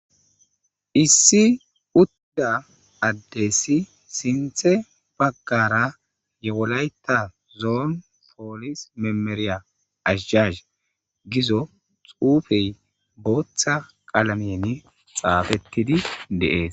Issi udda addessi sinthe baggara yewolayta zoon poolis memeriya ashjas gizo xuufey booththa qalameeni xaafettidi deees